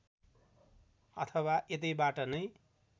अथवा यतैबाट नै